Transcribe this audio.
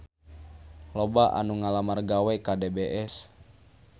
Loba anu ngalamar gawe ka DBS